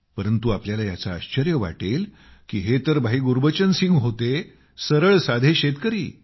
परंतु आपल्याला याचे आश्चर्य वाटेल की हे तर भाई गुरबचन सिंग होते सरळ साधे शेतकरी